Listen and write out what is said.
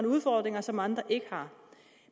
udfordringer som andre ikke har